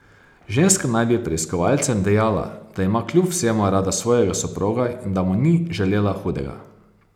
Ženska naj bi preiskovalcem dejala, da ima kljub vsemu rada svojega soproga in da mu ni želela hudega.